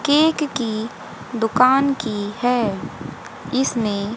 cake की दुकान की है इसमें--